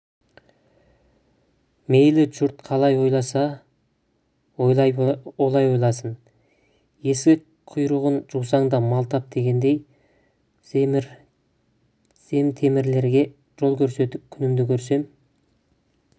мейлі жұрт қалай ойласа олай ойласын есек құйрығын жусаң да мал тап дегендей земтемірлерге жол көрсетіп күнімді көрсем